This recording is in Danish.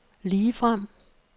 ligefrem